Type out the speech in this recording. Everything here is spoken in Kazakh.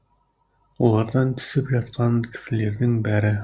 олардан түсіп жатқан кісілердің бәрі асығыс